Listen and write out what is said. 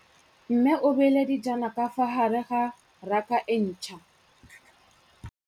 Mmê o beile dijana ka fa gare ga raka e ntšha.